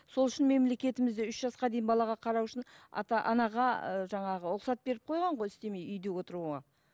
сол үшін мемлекетімізде үш жасқа дейін балаға қарау үшін ата анаға ы жаңағы рұқсат беріп қойған ғой істемей үйде отыруға